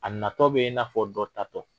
A natɔ bɛ na fɔ dɔ tatɔ.